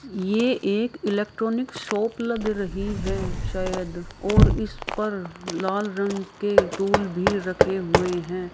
यह एक electronic shop लग रही है शायद और इस पर लाल रंग के टूल भी रखे हुए हैं।